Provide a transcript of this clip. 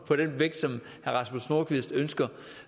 på den vægt som herre rasmus nordqvist ønsker